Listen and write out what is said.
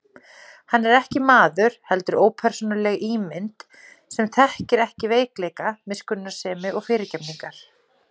Hann er ekki maður, heldur ópersónuleg ímynd, sem þekkir ekki veikleika miskunnsemi og fyrirgefningar.